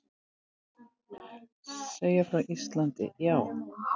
Segja frá Íslandi, já.